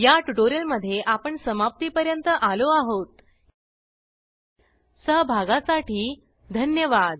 या ट्यूटोरियल चे भाषांतर कविता साळवे यांनी केल असून मी रंजना भांबळे आपला निरोप घेते सहभागासाठी धन्यवाद